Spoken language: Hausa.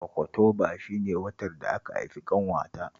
Okotoba shi ne watan da aka haifi ƙanwata